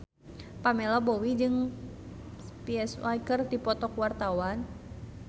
Pamela Bowie jeung Psy keur dipoto ku wartawan